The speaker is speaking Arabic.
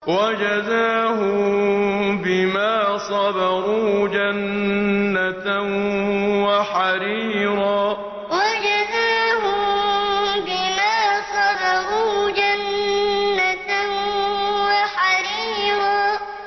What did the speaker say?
وَجَزَاهُم بِمَا صَبَرُوا جَنَّةً وَحَرِيرًا وَجَزَاهُم بِمَا صَبَرُوا جَنَّةً وَحَرِيرًا